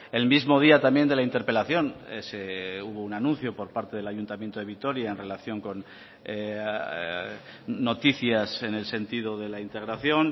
el mismo día también de la interpelación hubo un anuncio por parte del ayuntamiento de vitoria en relación con noticias en el sentido de la integración